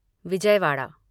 Vijayawada